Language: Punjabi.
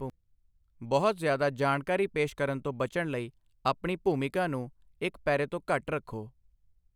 ਬਹੁਤ ਜ਼ਿਆਦਾ ਜਾਣਕਾਰੀ ਪੇਸ਼ ਕਰਨ ਤੋਂ ਬਚਣ ਲਈ ਆਪਣੀ ਭੂਮਿਕਾ ਨੂੰ ਇੱਕ ਪੈਰੇ ਤੋਂ ਘੱਟ ਰੱਖੋ।